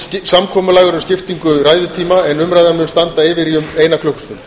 samkomulag er um skiptingu ræðutíma en umræðan mun standa yfir í um eina klukkustund